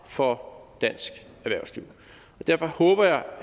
for dansk erhvervsliv og derfor håber jeg